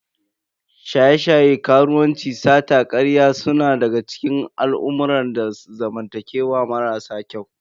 Shaye-shaye, karuwanci, sata, karya suna daga cikin al'amurran zamantakewa marasa kyau.